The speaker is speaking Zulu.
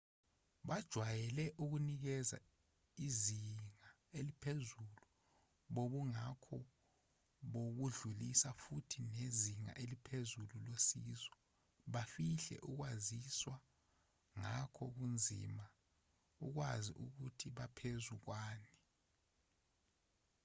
bajwayele ukunikeza izinga eliphezulu bobungakho bokudlulisa futhi nezinga eliphezulu losizo bafihle ukwaziswa ngakho kunzima ukwazi ukuthi baphezu kwani